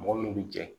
Mɔgɔ min bɛ jɛ